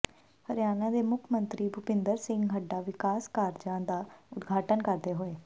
ਹਰਿਆਣਾ ਦੇ ਮੁੱਖ ਮੰਤਰੀ ਭੁਪਿੰਦਰ ਸਿੰਘ ਹੁੱਡਾ ਵਿਕਾਸ ਕਾਰਜਾਂ ਦਾ ਉਦਘਾਟਨ ਕਰਦੇ ਹੋਏ